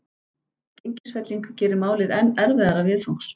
Gengisfelling gerir málið enn erfiðara viðfangs.